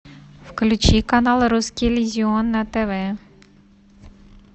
включи канал русский иллюзион на тв